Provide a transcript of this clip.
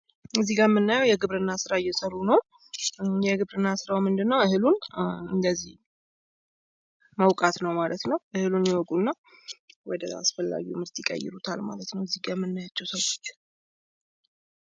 ከዚ ጋ ምናያው የግብርና ስራ እየሰሩ ነው። የግብርና ስራው ምንድን ነው እህሉን እንደዚህ መውቃት ነው ማለት ነው እህሉን ይወቁ እና ወደ አስፈላጊው ምርት ይቀይሩታል ማለት ነው ከዚህ ጋ የምናያቸው ሰዎች።